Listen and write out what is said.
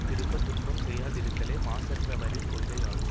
திரும்ப துன்பம் செய்யாதிருத்தலே மாசற்றவரின் கொள்கையாகும்